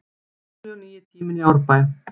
Gamli og nýi tíminn í Árbæ